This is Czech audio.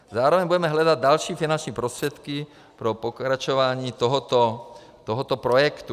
Zároveň budeme hledat další finanční prostředky pro pokračování tohoto projektu.